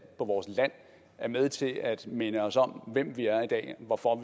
på vores land er med til at minde os om hvem vi er i dag hvorfor